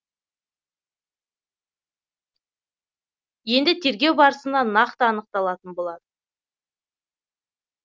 енді тергеу барысында нақты анықталатын болады